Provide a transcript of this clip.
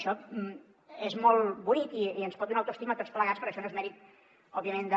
això és molt bonic i ens pot donar autoestima a tots plegats però això no és mèrit òbviament de